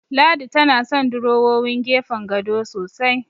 Ladi tana son durowowin gefen gado sosai.